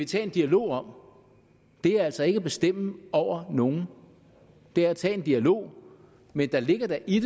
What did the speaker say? tage en dialog om det er altså ikke at bestemme over nogen det er at tage en dialog men der ligger da i